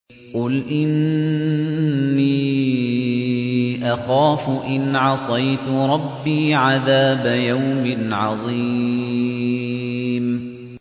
قُلْ إِنِّي أَخَافُ إِنْ عَصَيْتُ رَبِّي عَذَابَ يَوْمٍ عَظِيمٍ